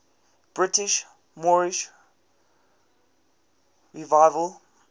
britain's moorish revival